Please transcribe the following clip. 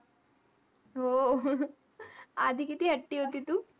हो. आधी किती हट्टी होती तू.